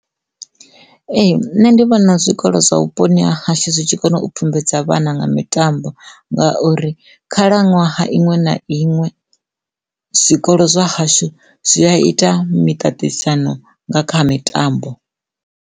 Ee, nṋe ndi vhona zwikolo zwa vhuponi ha hashu zwi tshi kone u pfhumbudza vhana nga mitambo ngauri khalaṅwaha iṅwe na iṅwe zwikolo zwa hashu zwi a ita miṱaṱisano nga kha mitambo.